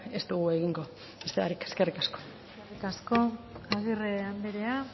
ez dugu egingo beste barik eskerrik asko eskerrik asko agirre andrea